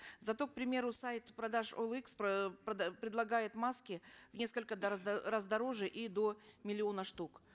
зато к примеру сайт продаж оэликс предлагает маски в несколько раз раз дороже и до миллиона штук